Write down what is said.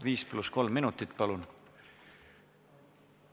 5 + 3 minutit, palun!